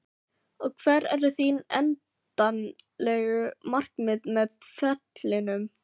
Og hver eru þín endanlegu markmið með ferlinum?